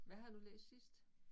Hvad har du læst sidst?